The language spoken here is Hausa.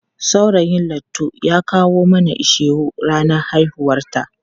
Saurayin Laitu ya kawo mana ishewu ranar haihuwarta.